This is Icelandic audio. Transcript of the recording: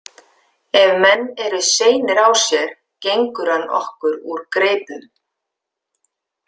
Ef menn eru seinir á sér gengur hann okkur úr greipum.